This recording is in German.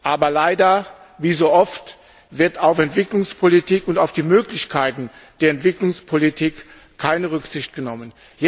Aber leider wie so oft wird auf Entwicklungspolitik und auf die Möglichkeiten der Entwicklungspolitik keine Rücksicht genommen.